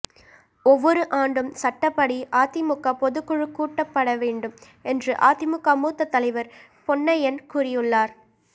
ஒவ்வொரு ஆண்டும் சட்டப்படி அதிமுக பொதுக்குழு கூட்டப்பட வேண்டும் என்று அதிமுக மூத்த தலைவர் பொன்னையன் கூறியுள்ளார்